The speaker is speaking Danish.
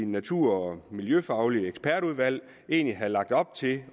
natur og miljøfagligt ekspertudvalg har lagt op til